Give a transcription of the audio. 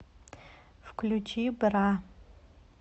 включи бра